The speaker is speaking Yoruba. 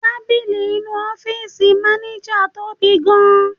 Tábìlì inú ọ́fíìsì maneja tóbi gan-an.